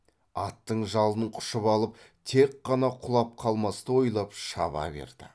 аттың жалын құшып алып тек қана құлап қалмасты ойлап шаба берді